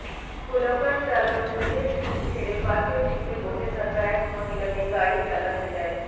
pool car চালক নিজের seat ছেড়ে পাশের সিটে বসে থাকা এক মহিলাকে গাড়ি চালাতে দেয়